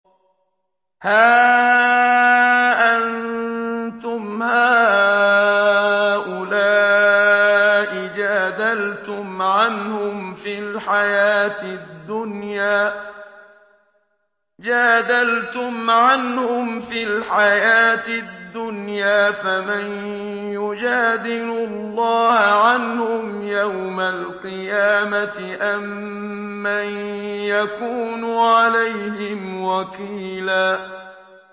هَا أَنتُمْ هَٰؤُلَاءِ جَادَلْتُمْ عَنْهُمْ فِي الْحَيَاةِ الدُّنْيَا فَمَن يُجَادِلُ اللَّهَ عَنْهُمْ يَوْمَ الْقِيَامَةِ أَم مَّن يَكُونُ عَلَيْهِمْ وَكِيلًا